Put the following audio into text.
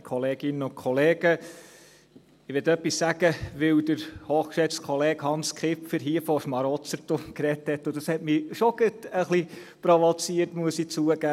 Ich will etwas sagen, weil der hochgeschätzte Kollege Hans Kipfer hier im Grossen Rat von Schmarotzertum gesprochen hat und mich das schon gerade etwas provoziert hat – muss ich zugeben.